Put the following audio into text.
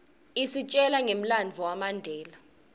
isitjela ngemlandvo wamandela